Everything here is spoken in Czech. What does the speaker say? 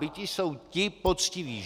Biti jsou ti poctiví.